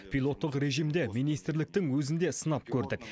пилоттық режимде министрліктің өзін де сынап көрдік